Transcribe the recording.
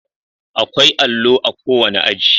Akwai allo a kowane aji